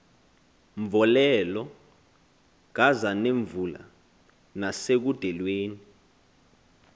mvolelo kazanemvula nasekudelweni